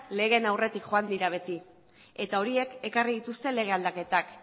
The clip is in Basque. legeen aurretik joan dira beti eta horiek ekarri dituzte lege aldaketak